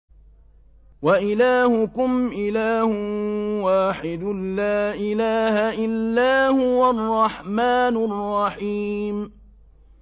وَإِلَٰهُكُمْ إِلَٰهٌ وَاحِدٌ ۖ لَّا إِلَٰهَ إِلَّا هُوَ الرَّحْمَٰنُ الرَّحِيمُ